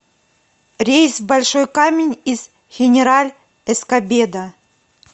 рейс в большой камень из хенераль эскобедо